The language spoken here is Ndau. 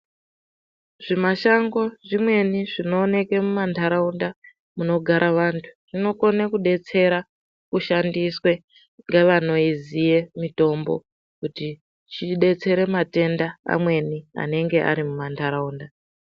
Zvimashango zvimweni zvinooneke muma ndaraunda munogara vantu zvinokone kubetsera kushandiswe ngevanoiziye mitombo kuti ibetsere matenda mamweni anenge arimu mandaraunda .